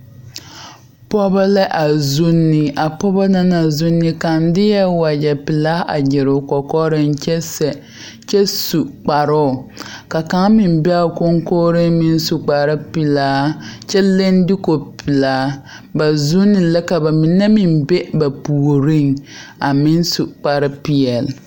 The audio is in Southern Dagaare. Pɔgeba la a vuunne a pɔgeba naŋ vuunne kaŋ de la wagyɛpelaa a gyire o kɔkɔreŋ kyɛ sɛ kyɛ su kparoŋ ka kaŋ meŋ be a koŋkogreŋ meŋsu kparepelaa kyɛ leŋ duko pelaa ba vuunne la ka ba mine meŋ be ba puoriŋ a meŋ su kparepeɛle.